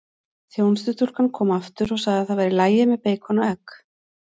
Þjónustustúlkan kom aftur og sagði það væri í lagi með beikon og egg.